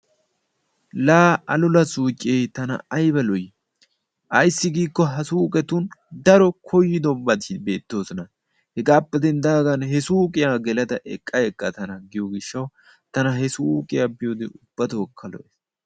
Laa alula suuqee tana ayba lo"ii! aysi giikko ha suuqetti daro kooyidobati beettoosona. Hegaappe denddaagan he suuqiyaa gelada eqqa eqqa tana giyoo giishshawu tana he suuqiyaa biyoogee ubbatokka lo"ees.